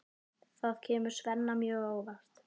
Það kemur Svenna mjög á óvart.